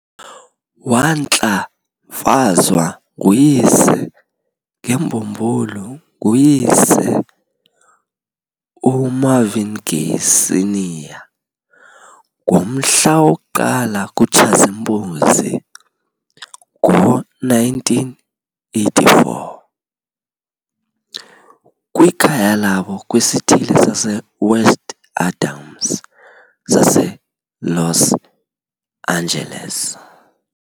Wantlamfazwa nguyise ngembululu nguyise, uMarvin Gay, Sr. ngomhla woku-1 kuTshazimpuzi, ngo1984, kwikhaya labo kwisithili saseWest Adams saseLos Angeles.